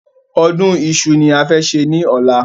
Ọdún Iṣu ni a fẹ́ ṣe ni ọ̀la